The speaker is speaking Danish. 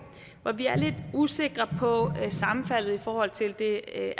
hvor vi er lidt usikre på sammenfaldet i forhold til det